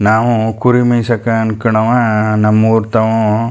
ನಾವು ಕುರಿಮೇಯ್ ಸಕ್ ಅನ್ನಕೋಣವಾ ನಮ್ಮ ಊರ್ ತವು.